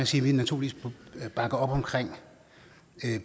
sige at vi naturligvis bakker op om